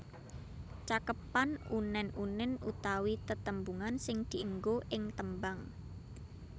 Cakepan unèn unèn utawi tetembungan sing dienggo ing tembang